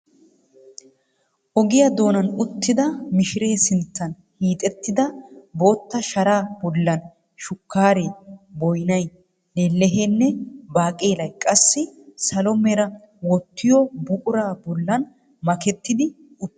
Ogiyaa doonaan uttida mishire sinttan hiixettida bootta sharaa bollan shukkaaree, boynay, lelleheenne baaqelay qassi salo mera wottiyo buquraa bollan makettidi uttis.